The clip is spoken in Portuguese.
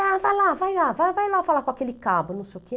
Ah, vai lá, vai lá, vai vai lá falar com aquele cabo, não sei o quê.